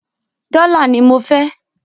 Dọ́là ní mọ fẹ́!